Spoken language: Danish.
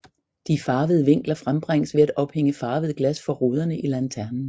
De farvede vinkler frembringes ved at ophænge farvede glas for ruderne i lanternen